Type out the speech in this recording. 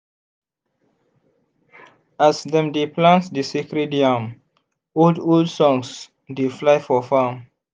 as dem dey plant di sacred yam old-old songs dey fly for farm.